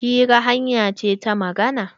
Hira hanya ce ta magana.